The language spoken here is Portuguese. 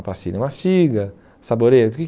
A pastilha mastiga, saboreia, o que